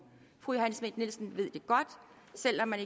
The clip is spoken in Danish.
fru johanne schmidt nielsen ved det godt selv om